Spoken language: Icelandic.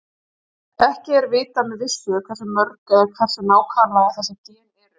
Ekki er vitað með vissu hversu mörg eða hver nákvæmlega þessi gen eru.